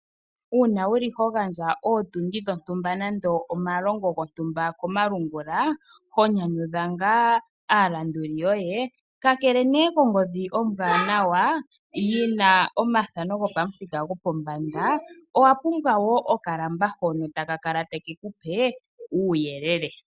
Uuna wu li ho gandja ootundi dhontumba nenge omalongo gontumba komalungula ho nyanyudha ngaa aalanduli yoye, kakele kongodhi ombwanawa yi na omathano gopamuthika gopombanda, owa pumbwa okalamba hono ta ka kale ta ke ku pe uuyelele.